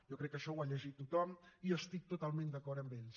jo crec que això ho ha llegit tothom i estic totalment d’acord amb ells